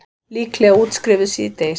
Líklega útskrifuð síðdegis